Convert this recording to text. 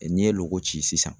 N'i ye loko ci sisan.